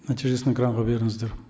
нәтижесін экранға беріңіздер